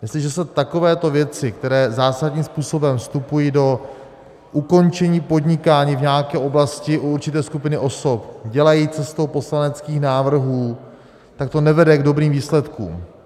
Jestliže se takovéto věci, které zásadním způsobem vstupují do ukončení podnikání v nějaké oblasti u určité skupiny osob, dělají cestou poslaneckých návrhů, tak to nevede k dobrým výsledkům.